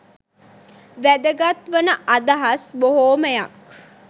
වැදගත් වන අදහස් බොහොමයක්